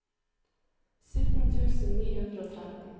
sytten tusen ni hundre og tretten